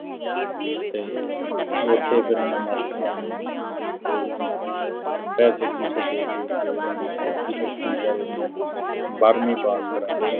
ਅਤੇ ਉੱਥੇ ਫਿਰ ਉਹਨੇ ਮਾਸਟਰਾਂ ਨੂੰ ਬਈ ਪੈਸੇ-ਪੂਸੇ ਦੇ ਕੇ ਜਿਹੜੀ ਔਖੀ-ਸੌਖੀ ਬੇਚਾਰੇ ਦੀ ਬਾਰਵੀਂ pass ਕਰਾਤੀ।